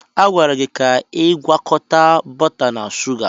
A gwara gị ka ị gwakọta bọta na shuga!